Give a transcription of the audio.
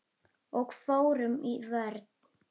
Og fórum í vörn.